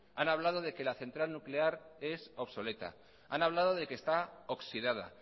han hablado de que la central nuclear es obsoleta han hablado de que está oxidada